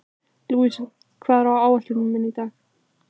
Louisa, hvað er á áætluninni minni í dag?